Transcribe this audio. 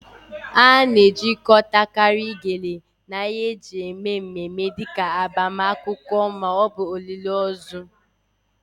A na-ejikọtakarị Gele na ihe eji eme mmemme dị ka agbamakwụkwọ ma ọ bụ olili ozu